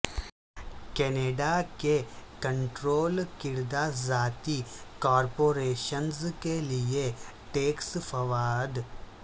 Canada کے control کردہ ذاتی کارپوریشنز کے لئے ٹیکس فوائد